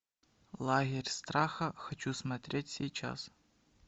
лагерь страха хочу смотреть сейчас